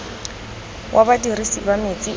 wa badirisi ba metsi o